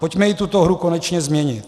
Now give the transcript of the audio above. Pojďme i tuto hru konečně změnit.